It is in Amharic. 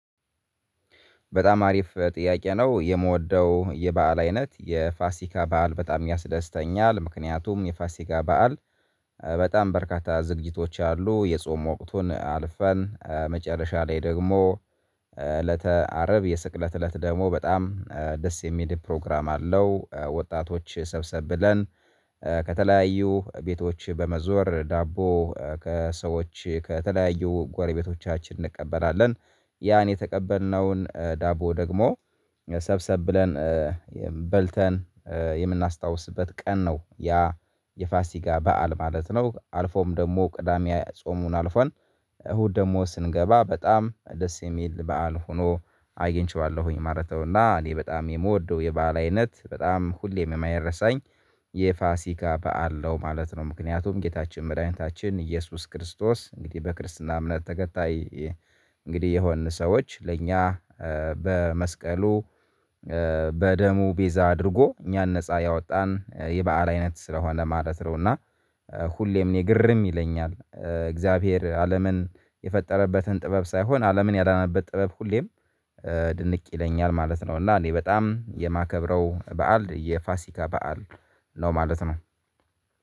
በጣም አሪፍ ጥያቄ ነው የምወደው በዓል አይነት የፋሲካ በዓል በጣም ያስደስተኛል ምክንያቱም የፋሲካ በዓል። በጣም በርካታ ዝግጅቶች አሉ የጾም ወቅቱን አልፈን መጨረሻ ላይ ደግሞ እለተ አርብ የስቅለት እለት ደግሞ በጣም ደስ የሚል ፕሮግራም አለው። ወጣቶች ሰብሰብ ብለን ከተለያዩ ቤቶች በመዞር ዳቦ ከሰዎች ከተለያዩ ጓረቤቶቻችን እንቀበላለን። ያን የተቀበልነውን ዳቦ ደግሞ ሰብሰብ ብለን በልተን የምናስታውስበት ቀን ነው ያ የፋሲካ በዓል ማለት ነው። አልፎም ደግሞ ቅዳሜ ጾሙን አልፈን እሁድ ደግሞ ስንገባ በጣም ደስ የሚል በዓል ሆኖ አግኝቼዋለሁኝ ማለት ነውና። እኔ በጣም የምወደው የበአል አይነት በጣም ሁሌም የማይረሳኝ የፋሲካ በዓለው ማለት ነው። ምክንያቱም ጌታችን መርኃኒታችን ኢየሱስ ክርስቶስ እንግዲህ በክርስትና እምነት ተከታይ እንግዲህ የሆንን ሰዎች ለእኛ በመስቀሉ በደሙ ቤዛ አድርጎ እኛን ነፃ ያወጣን በዓል አይነት ስለሆነ ለማለት ነውና። ሁሌም እኔ ግርም ይለኛል እግዚአብሔር አለምን የፈጠረበትን ጥበብ ሳይሆን አለምን ያዳነበት ጥበብ ሁሌም ድንቅ ይለኛል ማለት ነው። እና እኔ በጣም የማከብረው በዓል የፋሲካ በዓል ነው ማለት ነው